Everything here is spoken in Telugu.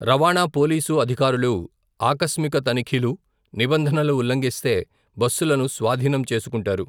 రవాణా పోలీసు అధికారుల ఆకస్మిక తనిఖీలు, నిబంధనలు ఉల్లంఘిస్తే, బస్సులను స్వాధీనం చేసుకుంటారు.